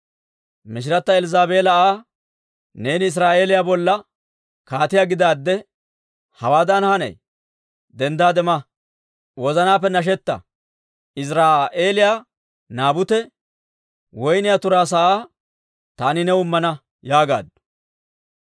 Machchatta Elzzaabeela Aa, «Neeni Israa'eeliyaa bolla kaatiyaa gidaadde hawaadan hanay? Denddaade ma! Wozanaappe nashetta! Iziraa'eeliyaa Naabute woyniyaa turaa sa'aa taani new immana» yaagaaddu.